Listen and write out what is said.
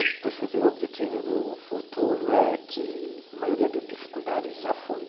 O objetivo do futuro é que a maioria das dificuldades já foi